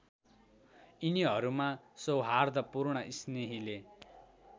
यिनीहरूमा सौहार्दपूर्ण स्नेहीले